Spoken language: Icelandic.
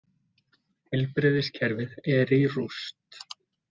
Heilbrigðiskerfið er í rúst.